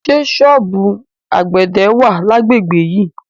Ṣé ṣọ́ọ̀bù àgbẹ̀dẹ wà lágbègbè yìí?